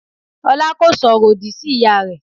Ọlá kò sọ̀rọ̀ òdì sí ìyá rẹ.